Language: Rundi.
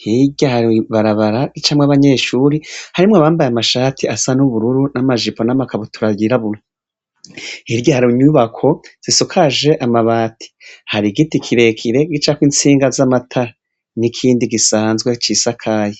Hirya hari ibarabara ricamwo abanyeshure harimwo abambaye amashati asa n'ubururu n'amajijo n'amakabutura yirabura. Hirya hari inyubako zisujaje amabati. Hari igiti kirekire gicako intsinga z'amatara, n'ikindi gisanzwe cisakaye.